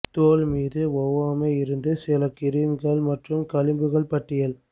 தோல் மீது ஒவ்வாமை இருந்து சிறந்த கிரீம்கள் மற்றும் களிம்புகள் பட்டியல்